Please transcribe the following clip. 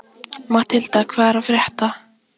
Matthilda, hvað er að frétta?